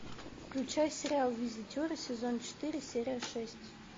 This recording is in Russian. включай сериал визитеры сезон четыре серия шесть